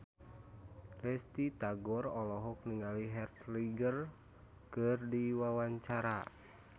Risty Tagor olohok ningali Heath Ledger keur diwawancara